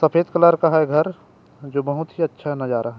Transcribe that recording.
सफ़ेद कलर का है घर जो बहुत ही अच्छा नज़ारा है ।